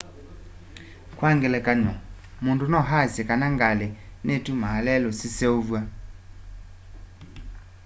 kwa ngelekany'o mũndũ no aasye kana ngalĩ nitumaa lelũ siseũvw'a